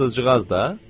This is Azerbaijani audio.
Fransızcığaz da?